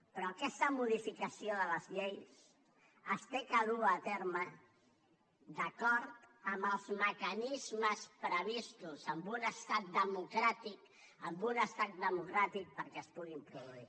però aquesta modificació de les lleis s’ha de dur a terme d’acord amb els mecanismes previstos en un estat democràtic en un estat democràtic perquè es puguin produir